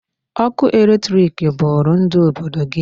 Ọkụ electric bụrụ ndụ obodo gị.